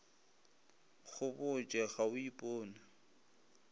go botše ga o ipone